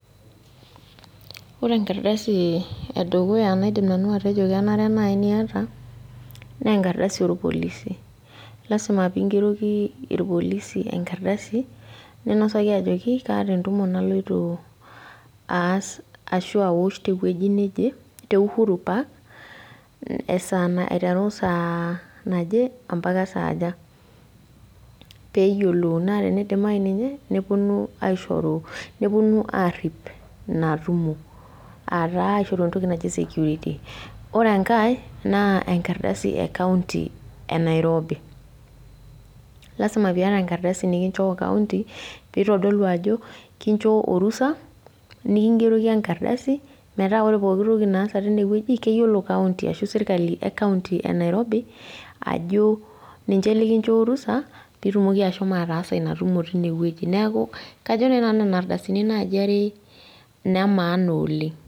Ore enkardasi naidim nanu etejo kenare piata naa enkadasi oorpolisi lazima peingeroki irpolisi enkardasi ninasaki ajoki keeta entumo naloito aas ashua awosh tewueji neje te Uhuru park aiteru esaa naje ompaka saaja peyiolou naa teneidimayu ninye nepuonu aishoru engari natumo ataa iwuejitin ore enkae naa enkardasi enairobi lazima piata enkardasi nikinchoo kaunti peitodolu ajo kinchoo orusa nikingeroki enkardasi metaa ore pooki toki naaata tine wueji keyiolo county ashuu serkali e county enairobi ajo ninche nllikichoo orusha peitumoki ashomo ataasa inatumo tine wueji neeku kajo naaji nanu nena ardasini are inemaana oleng